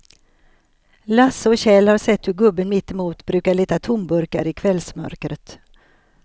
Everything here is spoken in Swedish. Lasse och Kjell har sett hur gubben mittemot brukar leta tomburkar i kvällsmörkret.